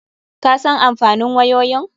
Ka san amfanin wayoyin?